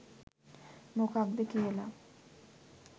මොකක්ද කියලා.